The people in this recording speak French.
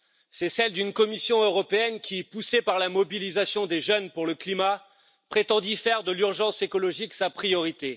C'est celle d'une Commission européenne qui, poussée par la mobilisation des jeunes pour le climat, prétendit faire de l'urgence écologique sa priorité.